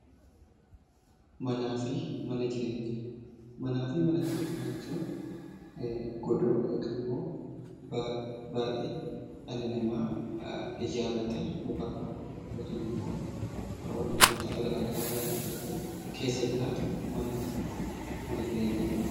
Manaa fi mana jireenyaa jechuun godoo yookiin immoo baaxii dhalli namaa ijaarratee mukarraa yookiin immoo wantoota garaa garaarraa ijaarratee keessa jiraatu manaa fi mana jireenyaa jedhama.